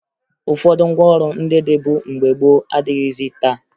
Ụfọdụ ngwaọrụ ndị dịbu mgbe gboo adịghịzị taa